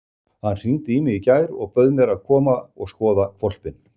Hann hringdi í mig í gær og bauð mér að koma og skoða hvolpinn.